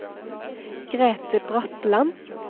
Grete Bratland